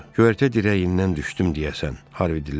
Köyərtə dirəyindən düşdüm deyəsən, Harvi dilləndi.